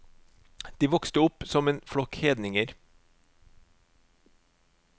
De vokste opp som en flokk hedninger.